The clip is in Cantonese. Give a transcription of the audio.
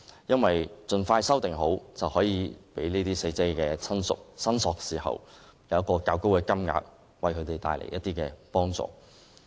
因為盡快完成修訂，便可讓死者親屬申索時得到一個較高的金額，為他們帶來一些幫助。